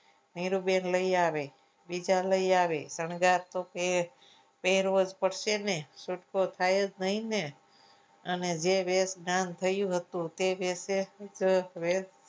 નીરૂબેન લઈ આવે બીજા લઈ આવે શણગાર તો કે રોજ પડશે ને છૂટકો થાય જ નહીં ને અને જે વેશ ધારણ થયું હતું. તે વિશે